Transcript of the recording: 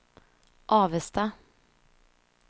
Avesta